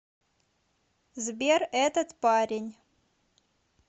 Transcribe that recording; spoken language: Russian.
сбер этот парень